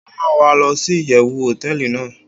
o ran wa losi iyewu hoteeli nàá